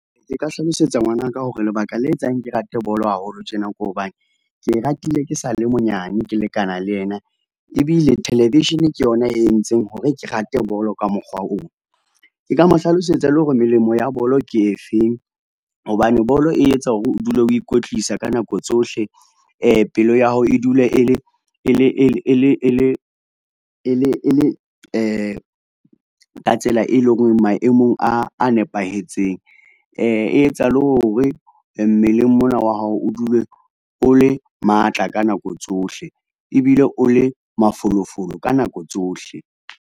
Nka hlalosetsa ngwana ka hore lebaka le etsang ke rate bolo haholo tjena, ke hobane ke e ratile ke sa le monyane, ke lekana le yena. Ebile television ke yona e entseng hore ke rate bolo ka mokgwa oo. Ke ka mo hlalosetsa le hore melemo ya bolo ke e feng, hobane bolo e etsa hore o dule o ikwetlisa ka nako tsohle. Pelo ya hao e dule e le e le ka tsela, e leng hore o maemong a nepahetseng. E etsa le hore mmeleng mona wa hao o dule o le matla ka nako tsohle, ebile o le mafolofolo ka nako tsohle.